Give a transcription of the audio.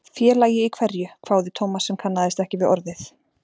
Félagi í hverju? hváði Thomas sem kannaðist ekki við orðið.